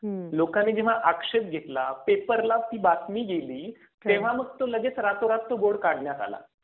हा, लोकांनी जेव्हा आक्षेप घेतला. पेपरला ती बातमी गेली. तेव्हा मग तो लगेच रातोरात तो बोर्ड काढण्यात आला.